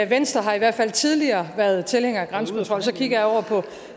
venstre har i hvert fald tidligere været tilhænger af grænsekontrol så kigger jeg over på